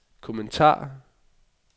kommentar